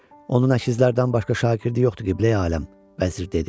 Onun əkizlərdən başqa şagirdi yoxdur, Qibləyi aləm, - vəzir dedi.